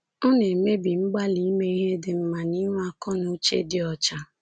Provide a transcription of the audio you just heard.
Ọ na-emebi mgbalị ime ihe dị mma na inwe akọ na uche dị ọcha.